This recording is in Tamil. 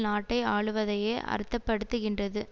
நாட்டை ஆளுவதையே அர்த்த படுத்துகின்றது